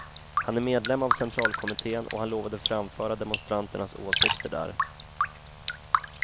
Han är medlem av centralkommitten, och han lovade framföra demonstranternas åsikter där.